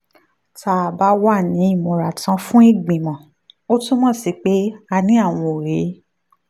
tá a bá wà ní ìmúratán fún ìgbìmọ̀ ó túmọ̀ sí pé a ní àwọn òye